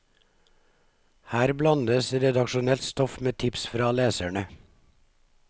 Her blandes redaksjonelt stoff med tips fra leserne.